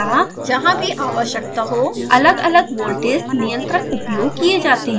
अतः जहाँ भी आवश्यकता हो अलगअलग वोल्टेज नियंत्रक उपयोग किये जाते हैं